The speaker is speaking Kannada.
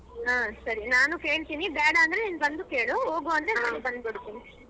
ಹ ಸರಿ ನಾನು ಕೇಳ್ತೀನಿ ಬೇಡ ಅಂದ್ರೆ ನಿನ್ ಬಂದು ಕೇಳು ಹೋಗು ಅಂದ್ರೆ ನಾನು ಬರ್ತೀನಿ.